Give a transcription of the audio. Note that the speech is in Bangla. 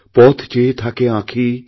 পথ চেয়ে থাকে আঁখি